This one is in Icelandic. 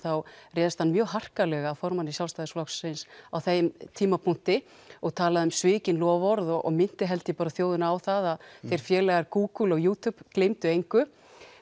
þá réðst hann mjög harkalega að formanni Sjálfstæðisflokksins á þeim tímapunkti og talaði um svikin loforð og minnti held ég þjóðina á að þeir félagar Google og YouTube gleymdu engu